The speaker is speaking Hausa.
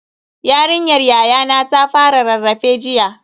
Yarinyar yayana ta fara rarrafe jiya.